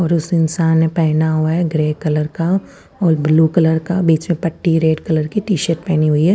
और उस इंशान ने पेना हुआ है ग्रे कलर का और ब्लू कलर का बिच में पट्टी है रेड कलर की टीशर्ट पेनी हुई है।